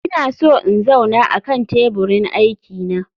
Ina so in zauna akan teburin aiki na